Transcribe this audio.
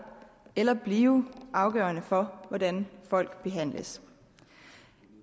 eller blive afgørende for hvordan folk behandles